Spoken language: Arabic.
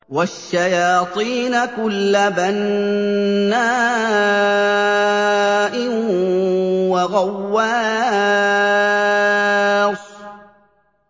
وَالشَّيَاطِينَ كُلَّ بَنَّاءٍ وَغَوَّاصٍ